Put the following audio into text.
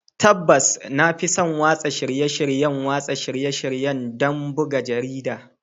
Tabbas, na fi son watsa shirye-shiryen watsa shirye-shirye don buga jarida.